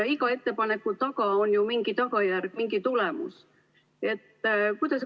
Iga ettepaneku taga on ju mingi tagajärg, mingi tulemus.